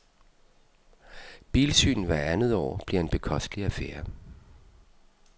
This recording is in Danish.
Bilsyn hvert andet år bliver en bekostelig affære.